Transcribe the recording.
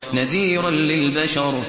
نَذِيرًا لِّلْبَشَرِ